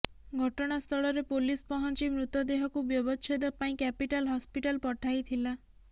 ଘଟଣା ସ୍ଥଳରେ ପୋଲିସ୍ ପହଞ୍ଚି ମୃତ ଦେହକୁ ବ୍ୟବଚ୍ଛେଦ ପାଇଁ କ୍ୟାପିଟାଲ ହସପିଟାଲ ପଠାଇଥିଲା